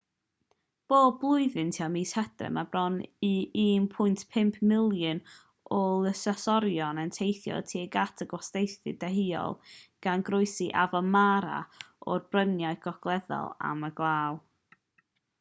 bob blwyddyn tua mis hydref mae bron i 1.5 miliwn o lysysorion yn teithio tuag at y gwastadeddau deheuol gan groesi afon mara o'r bryniau gogleddol am y glaw